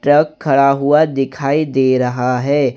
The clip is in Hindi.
ट्रक खड़ा हुआ दिखाई दे रहा है।